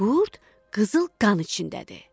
qurd qızıl qan içindədir.